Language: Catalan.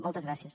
moltes gràcies